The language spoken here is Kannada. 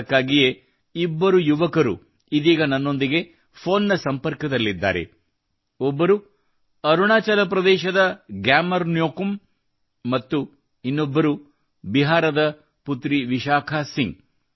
ಅದಕ್ಕಾಗಿಯೇ ಇಬ್ಬರು ಯುವಕರು ಇದೀಗ ನನ್ನೊಂದಿಗೆ ಫೋನ್ನ ಸಂಪರ್ಕದಲ್ಲಿದ್ದಾರೆ ಒಬ್ಬರು ಅರುಣಾಚಲ ಪ್ರದೇಶದ ಗ್ಯಾಮರ್ ನ್ಯೋಕುಮ್ ಅವರು ಮತ್ತು ಇನ್ನೊಬ್ಬರು ಬಿಹಾರದ ಪುತ್ರಿ ವಿಶಾಖಾ ಸಿಂಗ್